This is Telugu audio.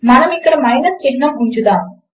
మనము అక్కడ మైనస్ చిహ్నము ఉంచుదాము